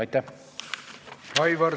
Aitäh!